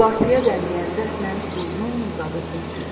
Uultıya bənzəyən səslə uzun-uzadı hürdü.